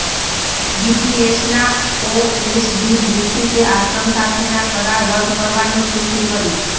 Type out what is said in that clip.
ડીપીએસના OSD દીક્ષિતે આશ્રમ સાથેના કરાર રદ કરવાની પુષ્ટિ કરી